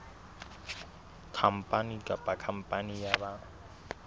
khampani kapa khampani ya ba